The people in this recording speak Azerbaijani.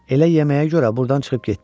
Elə yeməyə görə burdan çıxıb getdi.